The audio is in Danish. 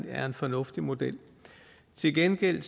er en fornuftig model til gengæld